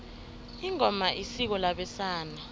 ingoma isiko labesana